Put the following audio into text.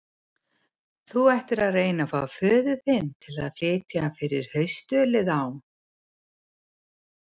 Þú ættir að reyna að fá föður þinn til að flytja fyrir haustölið á